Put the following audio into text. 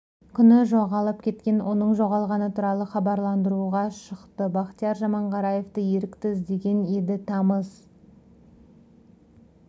күні жоғалып кеткен оның жоғалғаны туралы хабарландыру ға шықты бақтияр жаманғараевты ерікті іздеген еді тамыз